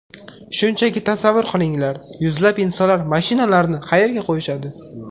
Shunchaki tasavvur qilinglar, yuzlab insonlar mashinalarini qayerga qo‘yishadi?